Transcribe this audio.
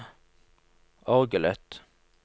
orgelet